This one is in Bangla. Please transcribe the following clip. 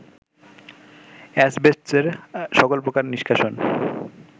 অ্যাসবেস্টসের সকল প্রকার নিষ্কাশন